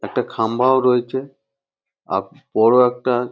একটা খাম্বাও রয়েছে আর বড় একটা--